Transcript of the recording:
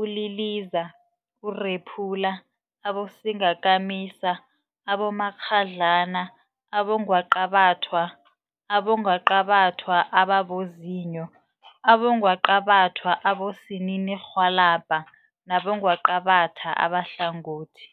uliliza, urephula, abosingakamisa, abomakghadlana, abongwaqabathwa, abongwaqabathwa ababozinyo, abongwaqabathwa abosininirhwalabha nabongwaqabatha abahlangothi.